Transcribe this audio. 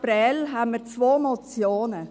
Dazu hatten wir gerade zwei Motionen.